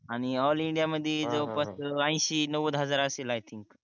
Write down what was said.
आणि ऑल इंडियामध्ये जवळपास ऐंशी नव्वद हजार असेल आय थिंक